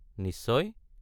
নিশ্চয়!